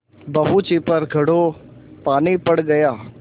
बहू जी पर घड़ों पानी पड़ गया